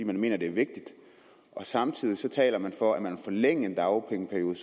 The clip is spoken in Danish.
man mener det er vigtigt og samtidig taler man for at man vil forlænge en dagpengeperiode